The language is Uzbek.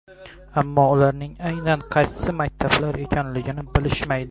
Ammo ularning aynan qaysi maktablar ekanligini bilishmaydi.